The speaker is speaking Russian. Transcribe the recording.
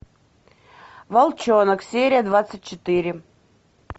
волчонок серия двадцать четыре